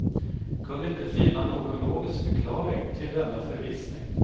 Kunde inte finna någon logisk förklaring till denna förvissning.